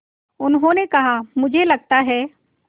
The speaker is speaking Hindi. उन्होंने कहा मुझे लगता है